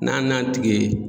N'an n'a tigi ye